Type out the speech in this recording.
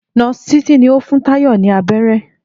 Nóòsì Títí ni ó fún Táyò ní abéré